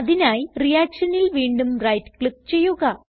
അതിനായി reactionൽ വീണ്ടും റൈറ്റ് ക്ലിക്ക് ചെയ്യുക